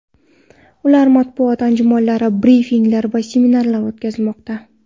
Ularda matbuot anjumanlari, brifinglar va seminarlar o‘tkazilmoqda.